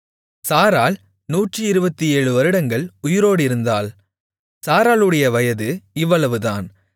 சாராள் 127 வருடங்கள் உயிரோடிருந்தாள் சாராளுடைய வயது இவ்வளவுதான்